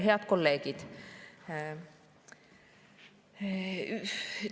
Head kolleegid!